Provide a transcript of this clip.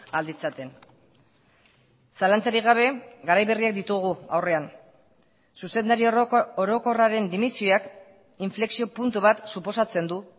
ahal ditzaten zalantzarik gabe garai berriak ditugu aurrean zuzendari orokorraren dimisioak inflexio puntu bat suposatzen du